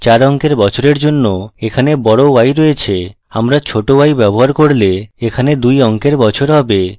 4 অঙ্কের বছরের জন্য এখানে বড় y রয়েছে আমরা ছোট y ব্যবহার করলে এখানে 2 অঙ্কের বছর হবে